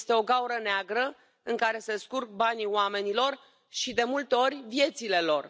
Este o gaură neagră în care se scurg banii oamenilor și, de multe ori, viețile lor.